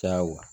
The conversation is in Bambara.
Caya